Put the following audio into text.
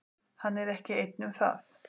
Hann er ekki einn um það.